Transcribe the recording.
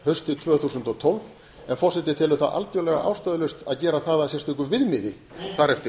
haustið tvö þúsund og tólf en forseti telur það algjörlega ástæðulaust að gera það að sérstöku viðmiði þar eftir